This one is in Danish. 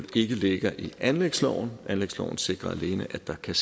ikke ligger i anlægsloven anlægsloven sikrer alene at der kan